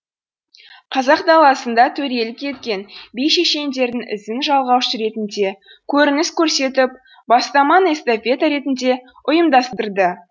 қазақ даласында төрелік еткен би шешендердің ізін жалғаушы ретінде көрініс көрсетіп бастаманы эстафета ретінде ұйымдастырды